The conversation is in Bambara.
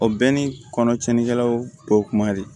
O bɛɛ ni kɔnɔ cɛnnikɛlaw bɔ kuma de